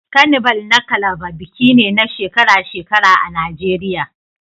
Carnival na Calabar biki ne na shekara-shekara a Najeriya